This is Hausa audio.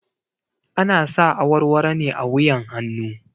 Ana sa warwaro ne a wuyan hanu